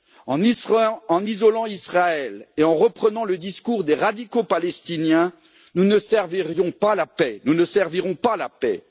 En isolant Israël et en reprenant le discours des radicaux palestiniens, nous ne servirons pas la paix.